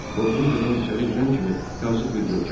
Qorxunc adam içəri girən kimi yazıq bir görkəm aldı.